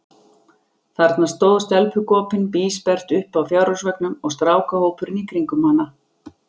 Þarna stóð stelpugopinn bísperrt uppi á fjárhúsveggnum, og strákahópurinn í kringum hana.